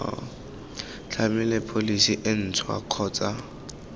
tlhamiwe pholesi e ntšhwa kgotsa